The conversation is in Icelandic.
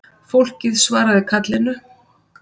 Fólkið svaraði kallinu